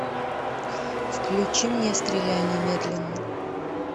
включи мне стреляй немедленно